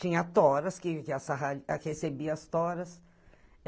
Tinha toras, que a serraria recebia as toras.